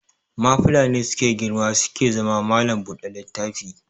Mafila ne suke girma suke zama mallam buɗe littafi